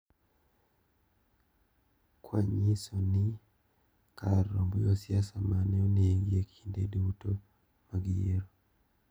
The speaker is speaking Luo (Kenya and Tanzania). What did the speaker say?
Kwa nyiso ni kar romb josiasa mane onegi ekinde duto mag yiero.